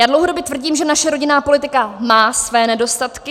Já dlouhodobě tvrdím, že naše rodinná politika má své nedostatky.